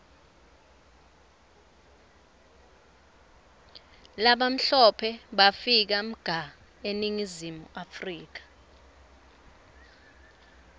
labamhlope bafika mga eningizimu africa